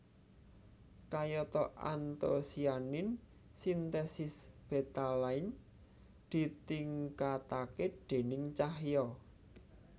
Kayata antosianin sintesis betalain ditingkatake déning cahya